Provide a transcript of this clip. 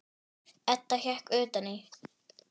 Edda hékk utan í.